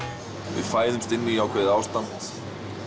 við fæðumst inn í ákveðið ástand